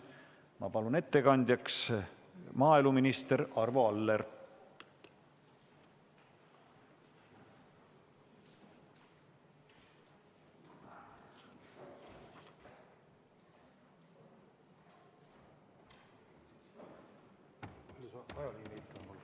Ma palun ettekandjaks maaeluminister Arvo Alleri.